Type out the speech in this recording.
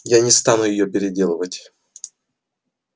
я не стану её переделывать